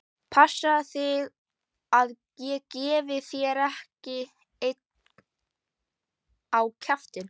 Passaðu þig að ég gefi þér ekki einn á kjaftinn!